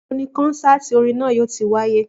Níbo ni kọ́nsáàti orin náà yóò ti wáyé?